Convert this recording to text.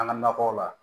An ka nakɔw la